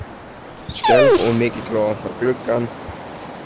Skelf of mikið til að opna gluggann.